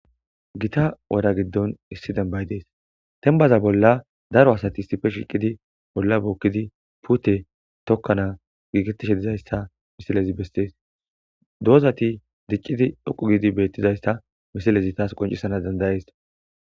Gita wora giddon issi dembay dees tembaza bolla daro asati sife shiiqidi bolla bookkidi pute tokkana giikettishe dizayssa misilezi bestees doozati diccidi dhoqu gidi beettizayssa misilezi taas qoncisana dandayees.